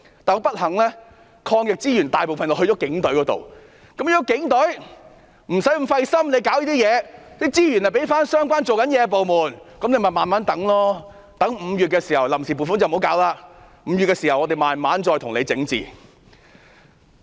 但不幸地，抗疫資源大部分落在警隊，如果警隊不要太費心處理這些工作，資源就可以交回相關工作的部門，不需要臨時撥款了，待5月時我們才慢慢整治。